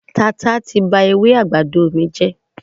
Tata ti ba ewé àgbàdo mi jẹ́.